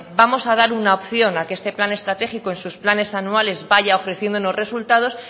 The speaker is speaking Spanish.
vamos a dar una opción a que este plan estratégico en sus planes anuales vaya ofreciendo unos resultados